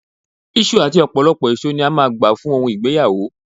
Iṣu àti ọ̀pọ̀lọpọ̀ èso ni a máa gbà fún ohun ìgbéyàwó